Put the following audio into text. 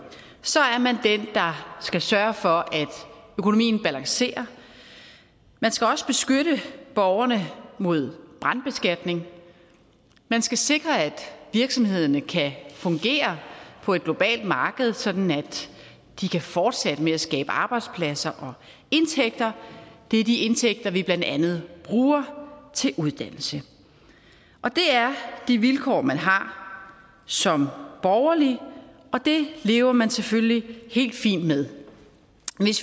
skal sørge for at økonomien balancerer man skal også beskytte borgerne mod brandskatning man skal sikre at virksomhederne kan fungere på et globalt marked sådan at de kan fortsætte med at skabe arbejdspladser og indtægter det er de indtægter vi blandt andet bruger til uddannelse det er de vilkår man har som borgerlig og det lever man selvfølgelig helt fint med